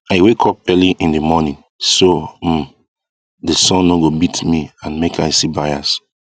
i wake up early in the morning so um that sun no go beat me and make i see buyers